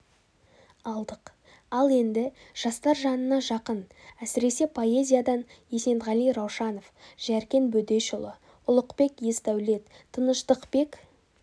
алдық ал енді жастар жанына жақын әсіресе поэзиядан есенғали раушанов жәркен бөдешұлы ұлықбек есдәулет тыныштықбек